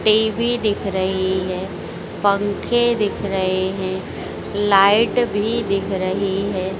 TV दिख रही है पंखे दिख रहे हैं लाइट भी दिख रही है।